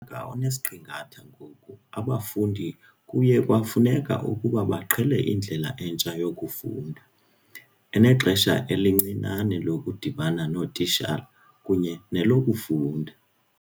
ka onesiqingatha ngoku, abafundi kuye kwafuneka ukuba baqhele indlela entsha yokufunda, enexesha elincinane lokudibana nootitshala kunye nelokufunda."